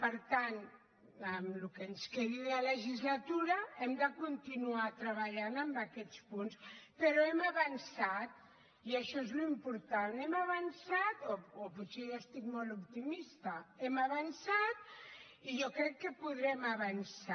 per tant en el que ens quedi de legislatura hem de continuar treballant en aquests punts però hem avançat i això és l’important hem avançat o potser jo estic molt optimista i jo crec que podrem avançar